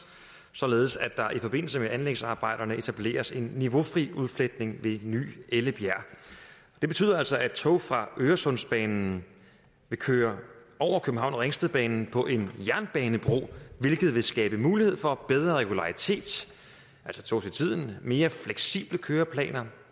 således at der i forbindelse med anlægsarbejderne etableres en niveaufri udfletning ved ny ellebjerg det betyder altså at tog fra øresundsbanen vil køre over københavn ringsted banen på en jernbanebro hvilket vil skabe mulighed for bedre regularitet altså tog til tiden mere fleksible køreplaner